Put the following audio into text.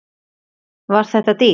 Var þetta dýrt?